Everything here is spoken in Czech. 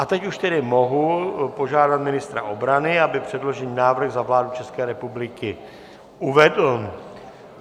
A teď už tedy mohu požádat ministra obrany, aby předložený návrh za vládu České republiky uvedl.